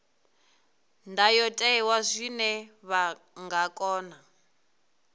ndayotewa zwine vha nga kona